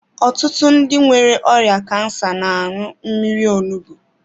Ọtụtụ ndị nwere ọrịa kansa n'añu mmírí onugbu.